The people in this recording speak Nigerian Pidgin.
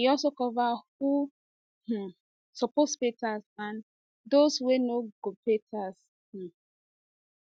e also cover who um suppose pay tax and and does wey no go pay tax um